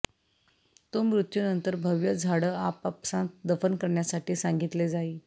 तो मृत्यू नंतर भव्य झाडं आपापसांत दफन करण्यासाठी सांगितले जाईल